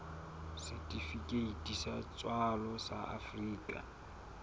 setifikeiti sa tswalo sa afrika